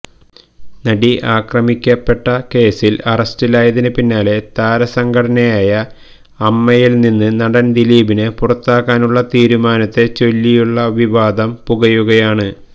നടി ആക്രമിക്കപ്പെട്ട കേസില് അറസ്റ്റിലായതിന് പിന്നാലെ താരസംഘടനയായ അമ്മയില് നിന്ന് നടന് ദിലീപിനെ പുറത്താക്കാനുള്ള തീരുമാനത്തെ ചൊല്ലിയുള്ള വിവാദം പുകയുകയാണ്